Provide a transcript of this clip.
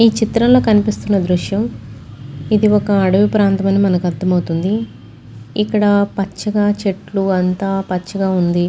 చిత్రంలో కనిపిస్తున్న దృశ్యం ఇది ఒక అడవి ప్రాంతం అని మనకు అర్థమవుతుంది ఇక్కడ పచ్చగా చెట్లు అంతా పచ్చగా ఉంది.